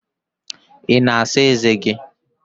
Ị na-asa ezé gị?